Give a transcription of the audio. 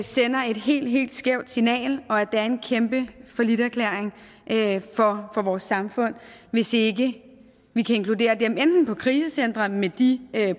sender et helt helt skævt signal og at det er en kæmpe falliterklæring for vores samfund hvis ikke vi kan inkludere dem enten på krisecentre med de